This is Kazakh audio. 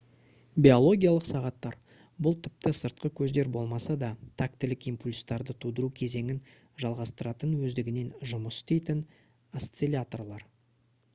биологиялық сағаттар бұл тіпті сыртқы көздер болмаса да тактілік импульстарды тудыру кезеңін жалғастыратын өздігінен жұмыс істейтін осцилляторлар